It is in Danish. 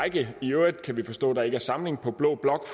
i i øvrigt kan vi forstå der ikke er samling på blå blok